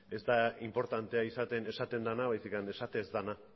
ez da inportantea izaten esaten dena baizik eta esaten ez dena